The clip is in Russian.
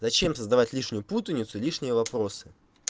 зачем создавать лишние путаницу лишние вопросы